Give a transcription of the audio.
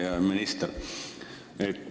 Hea minister!